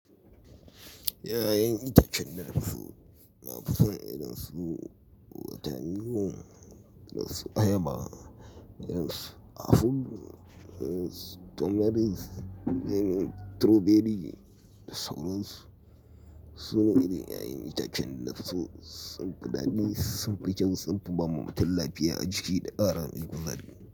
Ya'yan itacen da nafi so, nafi son irin su watermelon, irin su ayaba, irin su apple, irin su tomatoes, lemon, strawberry da sauransu. Su ne irin ya'yan itacen da nafi so sun fi dadi sun fi kyau, sun fi ba mutum lafiya a jiki da ƙara mai kuzari.